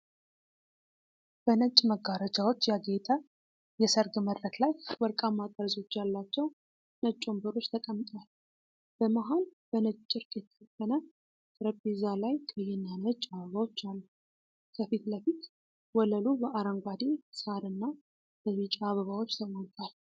በነጭ መጋረጃዎች ያጌጠ የሠርግ መድረክ ላይ ወርቃማ ጠርዞች ያሏቸው ነጭ ወንበሮች ተቀምጠዋል። በመሃል በነጭ ጨርቅ የተሸፈነ ጠረጴዛ ላይ ቀይና ነጭ አበባዎች አሉ። ከፊት ለፊት ወለሉ በአረንጓዴ ሳርና በቢጫ አበባዎች ተሞልቷል።